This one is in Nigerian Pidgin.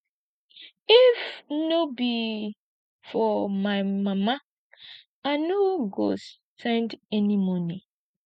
if no be for my mama i no go send any money